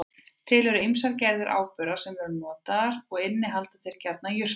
Til eru ýmsar gerðir áburða sem notaðir eru og innihalda þeir gjarnan jurtalyf.